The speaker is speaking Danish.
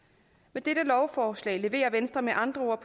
med dette lovforslag leverer venstre med andre ord